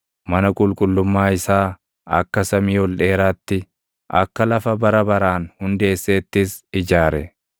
Mana qulqullummaa isaa akka samii ol dheeraatti, akka lafa bara baraan hundeesseettis ijaare.